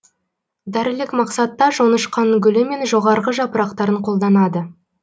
дәрілік мақсатта жоңышқаның гүлі мен жоғарғы жапырақтарын қолданады